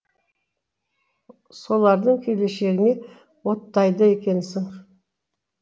солардың келешегіне оттайды екенсің